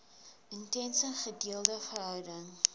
intense gedeelde verhouding